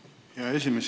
Hea esimees!